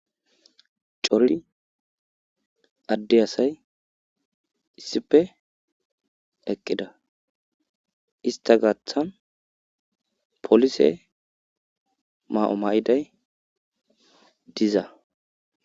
cora adde asay issife eqqida ista gaththan polise ma'o ma'iday diza